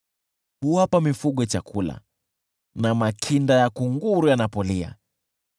Huwapa chakula mifugo na pia makinda ya kunguru yanapolia.